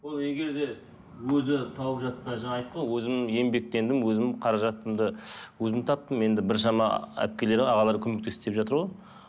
ол егер де өзі тауып жатса жаңа айтты ғой өзім еңбектендім өзім қаражатымды өзім таптым енді біршама әпкелер ағалар көмектесті деп жатыр ғой